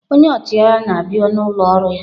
Onye ọchịagha na-abịa n'ụlọ ọrụ ya.